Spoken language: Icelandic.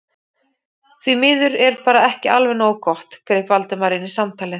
Því miður er bara ekki alveg nógu gott- greip Valdimar inn í samtalið.